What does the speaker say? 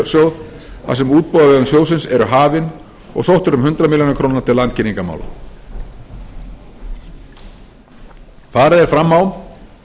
fjarskiptasjóð þar sem útboð á vegum sjóðsins eru hafin og sótt er um hundrað milljónir króna til landkynningarmála farið er fram á